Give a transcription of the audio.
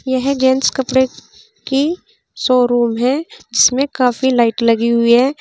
यह जेंट्स कपड़े की शोरूम है जिसमें काफी लाइट लगी हुई हैं।